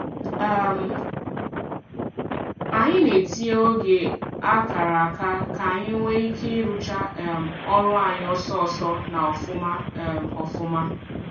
um Anyị na-etinye oge a kara aka k'anyi nwee ike ị rụcha um ọrụ anyị ọsọọsọ na ofuma um ofuma